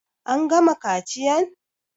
An gama kaciyan?